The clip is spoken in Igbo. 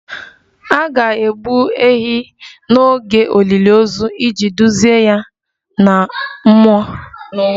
A ga-egbu ehi n'oge olili ozu iji duzie ya n'ụwa mmụọ